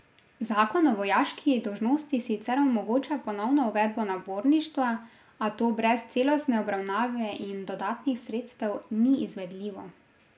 Zakon o vojaški dolžnosti sicer omogoča ponovno uvedbo naborništva, a to brez celostne obravnave in dodatnih sredstev ni izvedljivo.